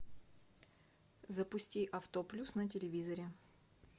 запусти авто плюс на телевизоре